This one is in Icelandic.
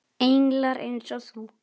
Englar eins og þú.